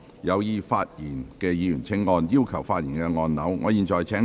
有意發言的議員請按"要求發言"按鈕。